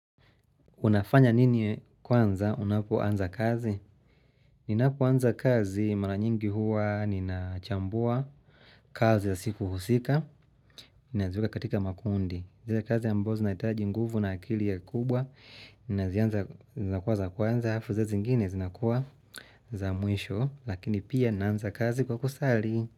Unafanya nini kwanza, unapu anza kazi? Ninapu anza kazi, maranyingi huwa nina chambua kazi ya siku husika, inaziweka katika makundi. Zile kazi yambozi naitaji nguvu na akili ya kubwa, zinaziweka kwa za kwanza, hafu zizi ngini zinakuwa za mwisho, lakini pia inaziweka kwa kusali.